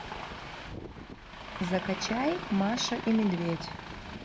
закачай маша и медведь